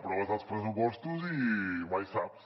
aproves els pressupostos i mai saps